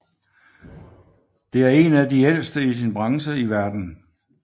Det er en af de ældste i sin branche i verden